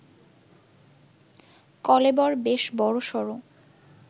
কলেবর বেশ বড়সড়